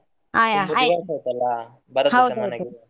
ಹಾ ಯಾ.